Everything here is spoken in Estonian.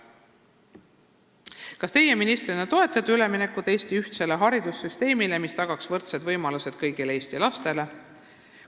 Neljas küsimus: "Kas teie ministrina toetate üleminekut Eesti ühtsele haridussüsteemile, mis tagaks võrdsed võimalused kõigile Eesti lastele?